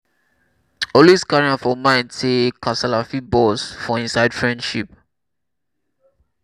always carry am for mind sey kasala fit burst for inside friendship